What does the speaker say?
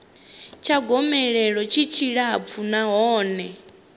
tsha gomelelo tshi tshilapfu nahone